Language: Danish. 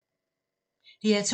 DR2